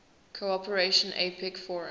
cooperation apec forum